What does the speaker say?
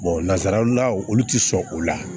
nanzaraw la olu tɛ sɔn o la